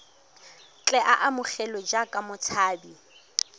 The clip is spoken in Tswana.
tle a amogelwe jaaka motshabi